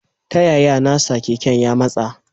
Taya ya na sa keken ya matsa.